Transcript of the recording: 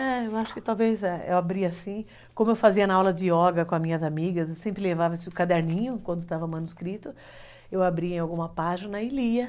É, eu acho que talvez eu abria assim, como eu fazia na aula de yoga com as minhas amigas, eu sempre levava esse caderninho quando estava manuscrito, eu abria em alguma página e lia.